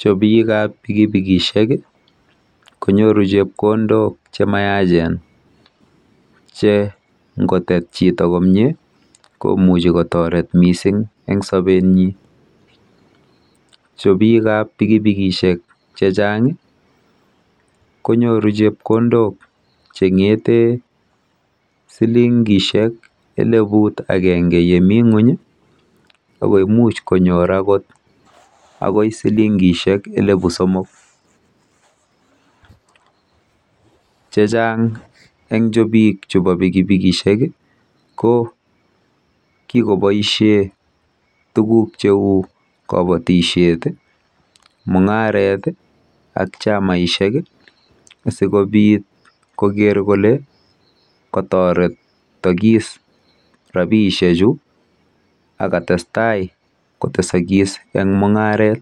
Chopikap pikipikishek konyoru chepkondok chemayachen che nkotet chito komie komuchi kotoret mising eng sobenyi. Chopikap pikipikishek chechang konyoru chepkondok cheng'ete silingishek eleput akenge yemi ng'uny ako imuch konyor akot akot silingishek elepu somok. Chechang eng chopik chepo pikipikishek ko kikoboishe tuguk cheu kabatishet, mung'aret ak chamaishek sikobit koker kolekatoretokis rabiishechu akatestai kotesokis eng mung'aret.